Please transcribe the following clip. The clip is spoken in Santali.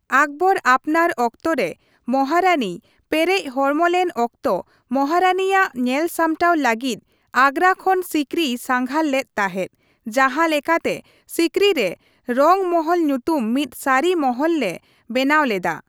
ᱟᱠᱵᱚᱨ ᱟᱯᱱᱟᱨ ᱚᱠᱛᱚ ᱨᱮ ᱢᱚᱦᱟᱨᱟᱱᱤᱭ ᱯᱮᱨᱮᱡ ᱦᱚᱲᱢᱚ ᱞᱮᱱ ᱚᱠᱛᱚ ᱢᱚᱦᱟᱨᱟᱱᱤ ᱭᱟᱜ ᱧᱮᱞᱥᱟᱢᱴᱟᱣ ᱞᱟᱹᱜᱤᱫ ᱟᱜᱨᱟ ᱠᱷᱚᱱ ᱥᱤᱠᱨᱤᱭ ᱥᱟᱸᱜᱷᱟᱨ ᱞᱮᱫ ᱛᱟᱸᱦᱮ, ᱡᱟᱦᱟ ᱞᱮᱠᱟᱛᱮ ᱥᱤᱠᱨᱤ ᱨᱮ ᱨᱚᱝ ᱢᱚᱦᱚᱞ ᱧᱩᱛᱩᱢ ᱢᱤᱫ ᱥᱟᱦᱤ ᱢᱚᱦᱚᱞ ᱞᱮ ᱵᱮᱱᱟᱣ ᱞᱮᱫᱟ ᱾